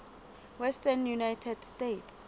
western united states